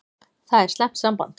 Það er slæmt samband.